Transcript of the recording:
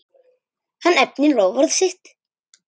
Hann efnir loforð sitt.